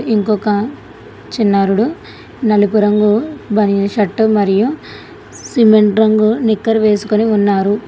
ఇంకొక చిన్నారుడు నలుపు రంగు బనిన్ షర్టు మరియు సిమెంట్ రంగు నిక్కర్ వేసుకుని ఉన్నారు.